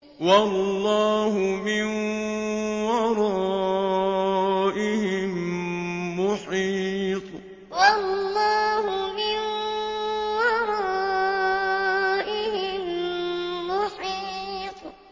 وَاللَّهُ مِن وَرَائِهِم مُّحِيطٌ وَاللَّهُ مِن وَرَائِهِم مُّحِيطٌ